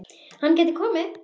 Hann gæti komið